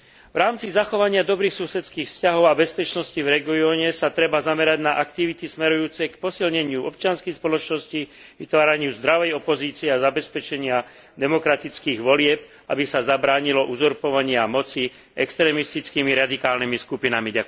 V rámci zachovania dobrých susedských vzťahov a bezpečnosti v regióne sa treba zamerať na aktivity smerujúce k posilneniu občianskych spoločností, vytváraniu zdravej opozície a zabezpečeniu demokratických volieb, aby sa zabránilo uzurpovaniu moci extrémistickými radikálnymi skupinami.